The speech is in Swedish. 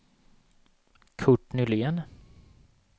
Kurt Nylén